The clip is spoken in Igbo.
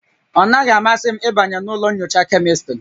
Ọ naghị-amasị m ịbanye na ụlọ nyocha Kemịstrị